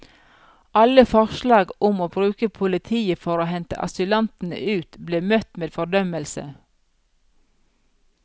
Alle forslag om å bruke politiet for å hente asylantene ut, ble møtt med fordømmelse.